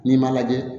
N'i m'a lajɛ